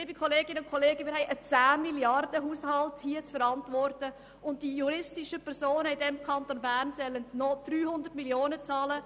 Liebe Kolleginnen und Kollegen, wir haben einen 10 Milliarden-Haushalt zu verantworten, und die juristischen Personen im Kanton Bern sollen nur noch 300 Mio. Franken zahlen.